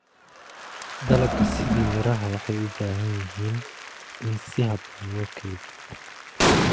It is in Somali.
Dalagga sida miraha waxay u baahan yihiin in si habboon loo kaydiyo.